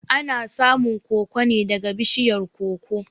Ana samun koko neh daga bishiyar koko